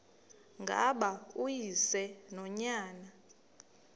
ngaba uyise nonyana